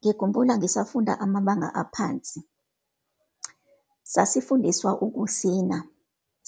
Ngikhumbula ngisafunda amabanga aphansi. Sasifundiswa ukusina,